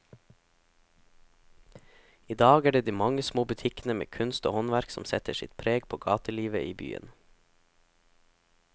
I dag er det de mange små butikkene med kunst og håndverk som setter sitt preg på gatelivet i byen.